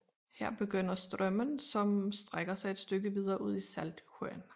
Her begynder Strömmen som strækker sig et stykke videre ud i Saltsjön